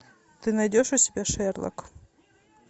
ты найдешь у себя шерлок